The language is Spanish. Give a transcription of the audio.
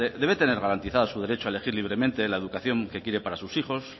debe tener garantizado su derecho a elegir libremente la educación que quiere para sus hijos